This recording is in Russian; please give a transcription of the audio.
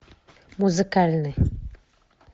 музыкальный